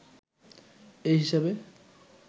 এই হিসাবে